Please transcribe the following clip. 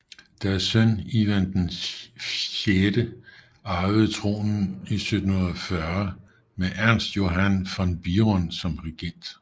Deres søn Ivan VI arvede tronen i 1740 med Ernst Johann von Biron som regent